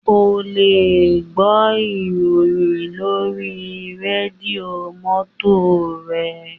O lè gbọ́ ìròyìn lórí rédíò mọ́tò re